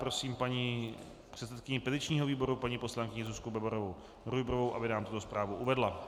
Prosím paní předsedkyni petičního výboru paní poslankyni Zuzku Bebarovou Rujbrovou, aby nám tuto zprávu uvedla.